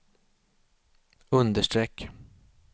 understreck